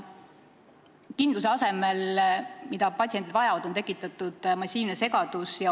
Kindluse asemel, mida patsiendid vajavad, on tekitatud massiivne segadus.